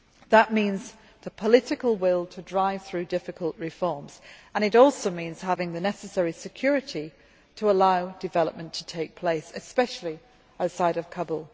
That means the political will to drive through difficult reforms, and it also means having the necessary security to allow development to take place, especially outside of Kabul.